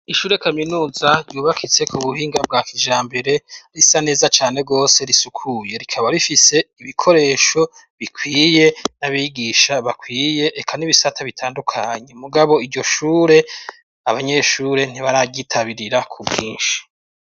Ishure Kaminuza ryubakitse ku buhinga bwa kijambere risa neza cane rwose risukuye. Rikaba rifise ibikoresho bikwiye n'abigisha bakwiye reka n'ibisata bitandukanye mugabo iryo shure abanyeshure ntibaryitabirira ku bwinshi.